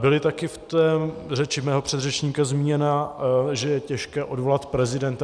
Bylo také v té řeči mého předřečníka zmíněno, že je těžké odvolat prezidenta.